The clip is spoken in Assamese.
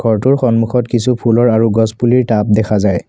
ঘৰটোৰ সন্মুখত কিছু ফুলৰ আৰু গছপুলিৰ টাব দেখা যায়।